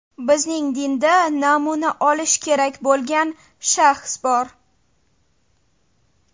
Bizning dinda namuna olish kerak bo‘lgan shaxs bor.